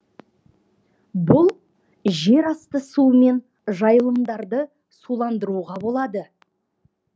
бұл жер асты суымен жайылымдарды суландыруға болады